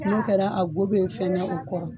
N'o kɛra a go be fɛnya u kɔrɔ.